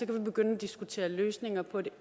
kan vi begynde at diskutere løsninger på et